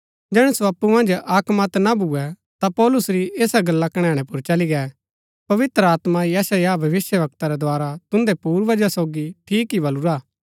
जैहणै सो अप्पु मन्ज अक्क मत ना भूए ता पौलुस री ऐसा गल्ला कणैणै पुर चली गै पवित्र आत्मा यशायाह भविष्‍यवक्ता रै द्धारा तुन्दै पूर्वजा सोगी ठीक ही बलुरा हा